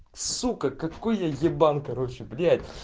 сука какой я ебан короче блять